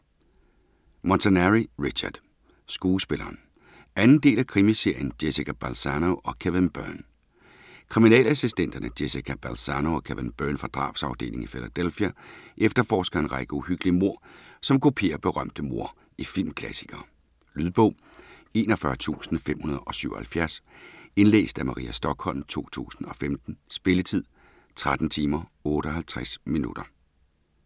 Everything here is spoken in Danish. Montanari, Richard: Skuespilleren 2. del af krimiserien Jessica Balzano & Kevin Byrne. Kriminalassistenterne Jessica Balzano og Kevin Byrne fra drabsafdelingen i Philadelphia efterforsker en række uhyggelige mord, som kopierer berømte mord i filmklassikere. Lydbog 41577 Indlæst af Maria Stokholm, 2015. Spilletid: 13 timer, 58 minutter.